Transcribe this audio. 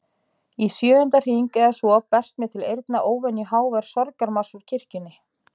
Í sjöunda hring eða svo berst mér til eyrna óvenju hávær sorgarmars úr kirkjunni.